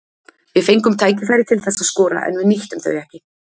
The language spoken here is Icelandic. Við fengum tækifæri til þess að skora en við nýttum þau ekki.